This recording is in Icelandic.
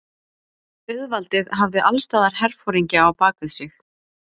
Auðvaldið hafði allsstaðar herforingja á bak við sig.